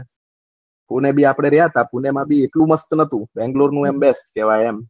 પુણે ભી આપળે રેહ્યા હતા પુણે માં ભી એટલું મસ્ત નથુ બેંગ્લોર ની મસ્ત કેહવાય એમ